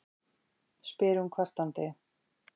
spyr hún kvartandi.